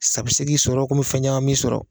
Sa bɛ se k'i sɔrɔ komi bɛ fɛn caman b'i sɔrɔ